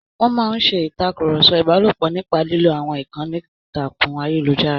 Wọ́n máa ń ṣe ìtàkùrọ̀sọ ìbálòpọ̀ nípa lílo àwọn ìkànnì ìtàkùn ayélujára.